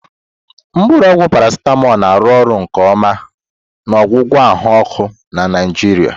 Mkpuru ogwu Paracetamol na-arụ ọrụ nke ọma na ọgwụgwọ ahụ ọkụ na Nigeria.